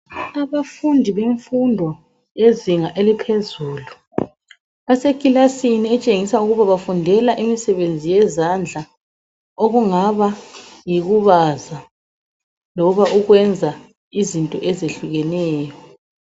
Abafundi bemfundo yezinga eliphezulu basekilasini etshengisa ukuba bafundela imisebenzi yezandla okungaba yikubaza loba ukwenza izinto ezihlukeneyo.